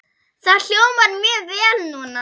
Það hljómar mjög vel núna.